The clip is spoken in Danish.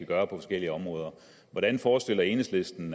gøre på forskellige områder hvordan forestiller enhedslisten